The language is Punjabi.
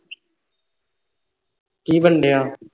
ਕਿ ਬਣਣ ਡੇਅ ਆ